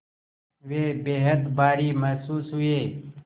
वे बेहद भारी महसूस हुए